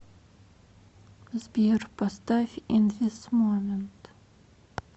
сбер поставь ин зис момент